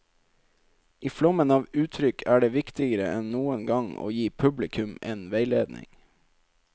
I flommen av uttrykk er det viktigere enn noen gang å gi publikum en veiledning.